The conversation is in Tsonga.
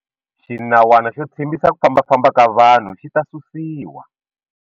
Xinawana xo tshimbisa ku fambafamba ka vanhu xi ta susiwa.